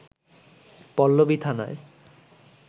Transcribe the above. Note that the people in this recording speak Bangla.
পল্লবী থানায়